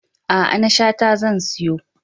A'a, na Shata zan siyo.